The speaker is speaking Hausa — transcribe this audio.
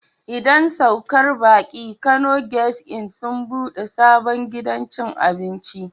Idan saukar baki Kano guest Inn sun ɓude sabon gidan cin abinci.